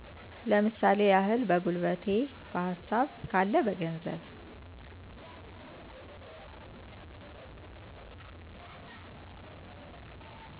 ለምሳሌ ያህል በጉልበቴ፣ በሀሳብ ካለ በገንዘብ